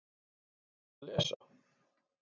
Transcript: Hvað ertu að lesa?